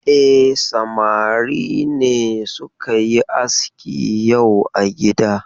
E, samari ne suka yi aski yau a gida.